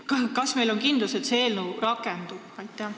Kas me saame olla kindlad, et see seadus rakendub?